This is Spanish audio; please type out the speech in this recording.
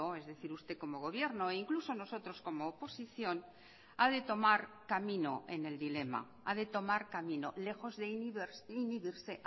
es decir usted como gobierno e incluso nosotros como oposición ha de tomar camino en el dilema ha de tomar camino lejos de inhibirse